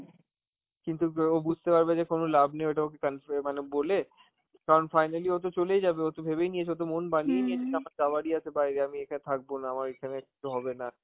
কিন্তু বা ও বুঝতে পারবে যে কোন লাভ নেই, ওইটা ওকে confe~ মানে বলে, কারণ finally ওতো চলেই যাবে, ওতো ভেবেই নিয়েছে, ওতো মন বানিয়ে নিয়েছে যখন যাওয়ারই আছে বাইরে, আমি এখানে থাকবো না আমার এখানে কিছু হবে না,